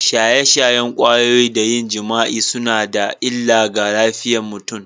Shaye-shayen kwayoyi da yin jima’i suna da illa ga lafiyar mutum.